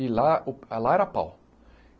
E lá, o lá era pau.